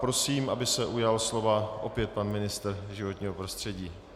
Prosím, aby se ujal slova opět pan ministr životního prostředí.